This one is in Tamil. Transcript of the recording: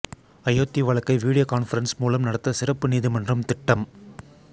அயோத்தி வழக்கை வீடியோ கான்பரன்ஸ் மூலம் நடத்த சிறப்பு நீதிமன்றம் திட்டம்